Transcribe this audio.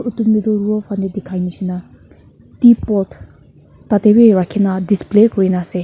ooto middle row falaae dikai nishina tea pot tadae bi rakina display kurina asae.